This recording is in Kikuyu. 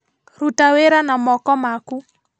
Ruta wĩra na moko maku